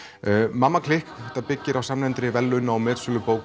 mamma klikk byggir á samnefndri verðlauna og metsölubók